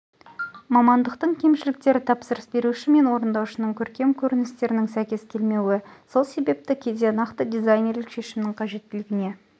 мамандықтың кемшіліктері тапсырыс беруші мен орындаушының көркем көріністерінің сәйкес келмеуі сол себепті кейде нақты дизайнерлік шешімнің қажеттілігіне